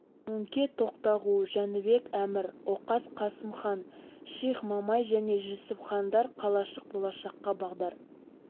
мөңке тоқтағу жәнібек әмір оқас қасым хан ших мамай және жүсіп хандар қалашық болашаққа бағдар